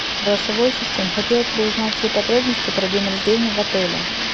голосовой ассистент хотелось бы узнать все подробности про день рождения в отеле